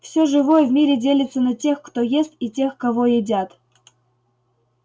всё живое в мире делится на тех кто ест и тех кого едят